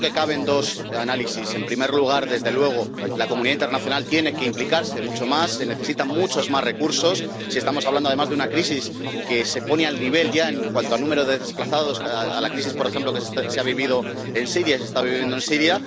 Yo creo que caben dos análisis en primer lugar, desde luego, la comunidad internacional tiene que implicarse mucho más, se necesitan muchos más recursos, pues estamos hablando, además, de una crisis que se pone al nivel ya, en cuanto a número de desplazados, de la crisis, por ejemplo, que se está viviendo en Siria